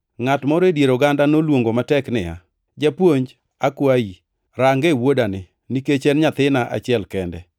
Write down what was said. Ngʼat moro e dier oganda noluongo matek niya, “Japuonj akwayi, range wuodani, nikech en nyathina achiel kende.